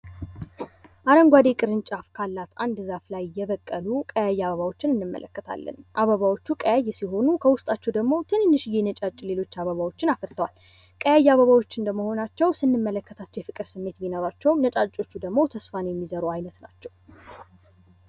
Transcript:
አረንጓዴ ቅንጫፍ ካላት አንድ ዛፍ ላይ የበቀሉ ቀያይ አበባዎችን እንመለከታለን። አበባዎቹ ቀይ ሲሆኑ ከዉስጣቸዉ ደግሞ ሌሎች ትንንሽዬ ነጫጭ አበባዎችን አፍርተዋል። ቀይ አበባዎች እንደመሆናቸዉ ስንመለከት የፍቅር ስሜት ቢኖራቸዉም ነጫጮች ደግሞ ተስፋ የሚዘሩ አይነት ናቸዉ።